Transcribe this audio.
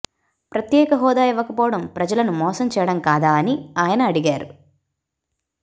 ప్రత్యేక హోదా ఇవ్వకపోవడం ప్రజలను మోసం చేయడం కాదా అని ఆయన అడిగారు